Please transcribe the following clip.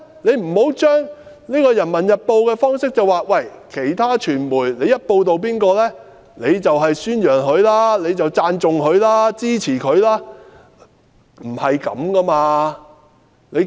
不要基於《人民日報》的辦報方式，認為其他傳媒報道某人的主張，便等於宣揚、讚頌、支持他。